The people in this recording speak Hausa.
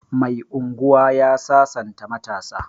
Mai unguwa ya sasanta matasa